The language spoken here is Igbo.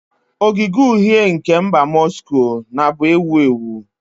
Ogige Uhie nke mba Moscow na bu ewu ewu.